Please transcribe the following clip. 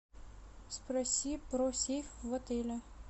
спроси про сейф в отеле